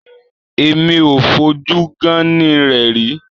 Èmi ò fojú gán-án-ní rẹ̀ rí.